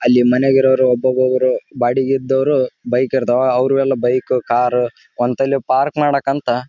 ಅಂದರೆ ಈ ಕಡೆ ಪಾ ಬೈಕ್ ಪಾರ್ಕಿಂಗ್ ಸಪರೇಟ್ ಆ ಕಡೆ ಕಾರ್ ಪಾರ್ಕಿಂಗ್ ಸಪರೇಟ್ ಮಾಡಿರೋದು ಕಾಣ್ತೈತಿ ಇಲ್ಲಿ